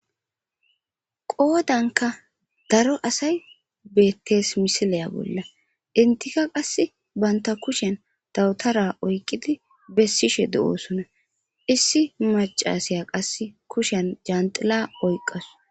Qoodanka daro asay bettees misileya bolla intika qass baynta kushen dawutara oyqqidi bessishe de'oosuna issi macasiya qass kushen janxila oyqqasu.